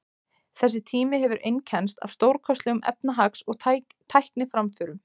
Þessi tími hefur einkennst af stórkostlegum efnahags- og tækniframförum.